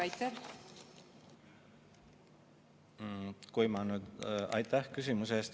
Aitäh küsimuse eest!